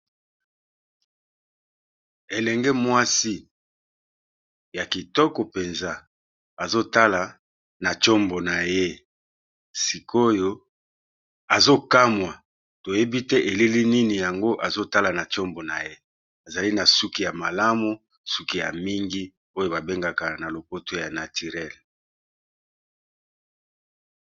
Elenge mwasi ya kitoko mpenza azo tala na tshombo na ye sikoyo azo kamwa toyebi te elili nini yango azo tala na tshombo na ye. Azali na suki ya malamu, suki ya mingi oyo ba bengaka na lopoto ya naturelle.